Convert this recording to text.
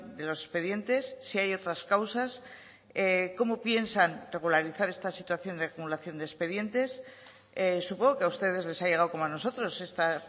de los expedientes si hay otras causas cómo piensan regularizar esta situación de acumulación de expedientes supongo que a ustedes les ha llegado como a nosotros esta